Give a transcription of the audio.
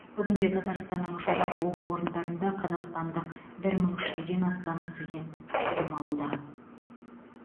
бүгінде татарстанның жоғары оқу орындарында қазақстандық бір мың үш жүзден астам студент білім алуда